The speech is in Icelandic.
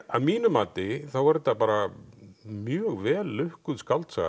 að mínu mati þá er þetta bara mjög vel lukkuð skáldsaga